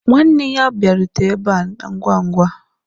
Nwanne ya abịarute ebe a ngwa ngwa.